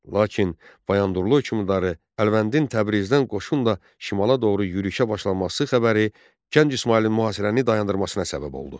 Lakin Bayandurlu hökmdarı Əlvəndin Təbrizdən qoşunla şimala doğru yürüşə başlaması xəbəri Gənc İsmayılın mühasirəni dayandırmasına səbəb oldu.